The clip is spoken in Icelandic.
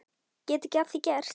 Get ekki að því gert.